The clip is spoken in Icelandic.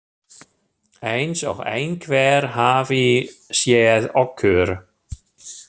Eins og einhver hafi séð okkur.